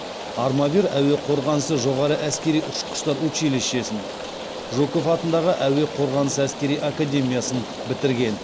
армавир әуе қорғанысы жоғары әскери ұшқыштар училищесін жуков атындағы әуе қорғанысы әскери академиясын бітірген